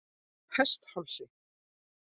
Hesthálsi